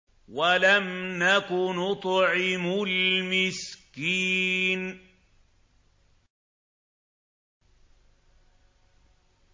وَلَمْ نَكُ نُطْعِمُ الْمِسْكِينَ